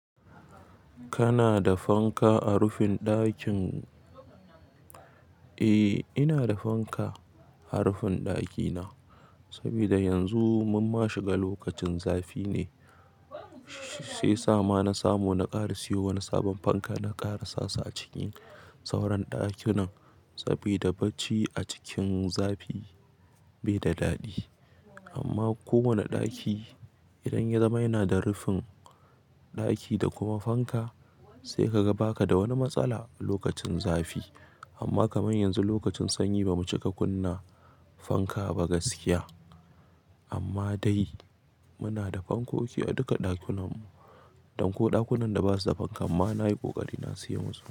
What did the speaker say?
Kana da fanka a rufin ɗakin? Eh, ina da fanka a rufin ɗakina sabida yanzu mun ma shiga lokacin zafi ne, shiyasama na samu na ƙara siyo wani sabon fanka na ƙara sasu a ciki sauran ɗakunan saboda barci a cikin zafi bai da daɗi. Amma kowane ɗaki idan ya zama yana da rufin ɗaki da kuma fanka sai ka ga ba ka da wani matsala lokacin zafi. Amma kamar yanzu lokacin sanyi bamu cika kunna fanka ba gaskiya. Amma dai muna da fankoki a duka ɗakunanmu, don ko ɗakunan da ba su da fanka mana yi ƙoƙari na siyoma su.